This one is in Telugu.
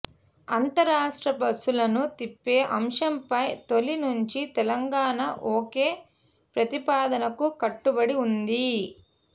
అంతర్రాష్ట్ర బస్సులను తిప్పే అంశంపై తొలి నుంచి తెలంగాణ ఒకే ప్రతిపాదనకు కట్టుబడి ఉంది